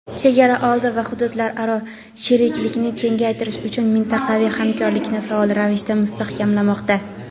chegaraoldi va hududlararo sheriklikni kengaytirish uchun mintaqaviy hamkorlikni faol ravishda mustahkamlamoqda.